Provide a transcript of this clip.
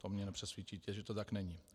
To mě nepřesvědčíte, že to tak není.